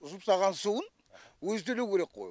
жуып тастаған суын өзі төлеу керек қой